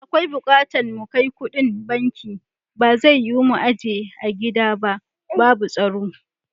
Da akwai bukatan na kai kuɗin banki, ba zai yiwu mu ajiye a gida ba babu tsaro.